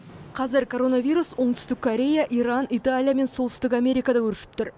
қазір коронавирус оңтүстік корея иран италия мен солтүстік америкада өршіп тұр